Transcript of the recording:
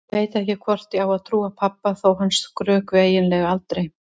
Ég veit ekki hvort ég á að trúa pabba þó að hann skrökvi eiginlega aldrei.